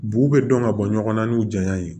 B'u bɛ dɔn ka bɔ ɲɔgɔn na n'u janya ye